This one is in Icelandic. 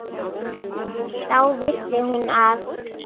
Þá vissi hún að